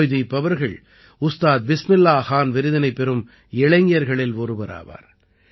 ஜாய்தீப் அவர்கள் உஸ்தாத் பிஸ்மில்லாஹ் கான் விருதினைப் பெறும் இளைஞர்களில் ஒருவராவார்